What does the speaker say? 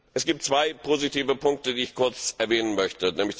Es gibt zwei positive Punkte, die ich kurz erwähnen möchte.